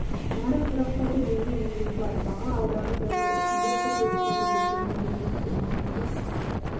нарық тұрақтады деуге негіз бар баға алдағы бір жыл ішінде күрт өспейді де төмендемейді де маусымдық